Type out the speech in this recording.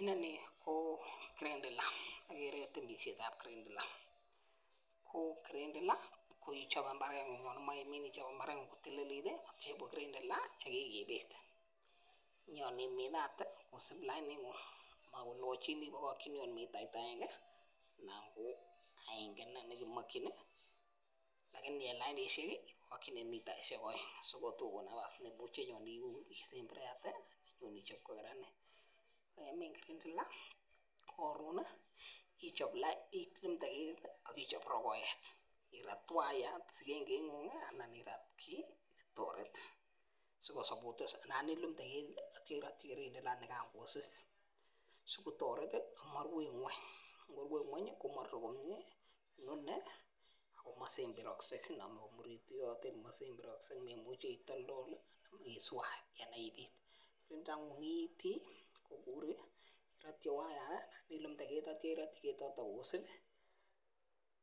Inoni ko kirindila , temisietab kirindila. Ko kirindila koichobe imbareng'ung kotililit yeitia inde kirindila chekikibit inyoon iminate kosib lainit, kokochin, koit mitait aenge anan ko aenge inei nekemache lakini en lainisiek ih ko mitaishek aeng sikotukuun nebas inyoisemberate, inyon ichob kokaranit . Yeimiin karandila karon ih ichab Lai, irat waiyat anan irat ki sikotoret anan ilumnde ketit sikotoret ih ama ru ngueny, komarure komie inoni koma semberakse simemuchevitoltol isuach anan ibit akilumde ketit